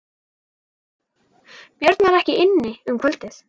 Björn var ekki inni um kvöldið.